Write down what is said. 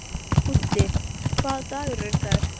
Úddi, hvaða dagur er í dag?